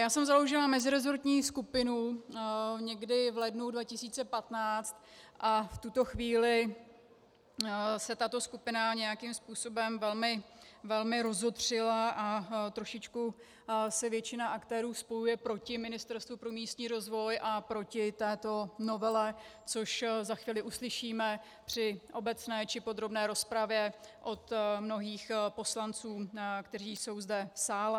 Já jsem založila meziresortní skupinu někdy v lednu 2015 a v tuto chvíli se tato skupina nějakým způsobem velmi rozotřila (?) a trošičku se většina aktérů spojuje proti Ministerstvu pro místní rozvoj a proti této novele, což za chvíli uslyšíme při obecné či podrobné rozpravě od mnohých poslanců, kteří jsou zde v sále.